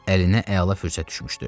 Əlinə əla fürsət düşmüşdü.